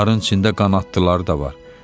Bunların içində qanadlıları da var.